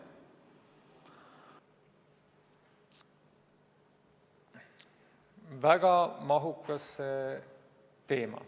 Väga mahukas teema.